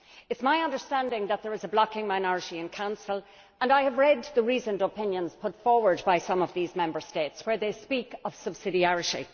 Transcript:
It is my understanding that there is a blocking minority in the Council, and I have read the reasoned opinions put forward by some of these Member States, where they speak of subsidiarity.